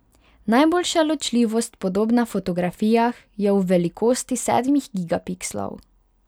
Najboljša ločljivost podob na fotografijah je v velikosti sedmih gigapikslov.